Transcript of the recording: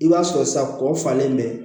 I b'a sɔrɔ sa kɔ falen bɛ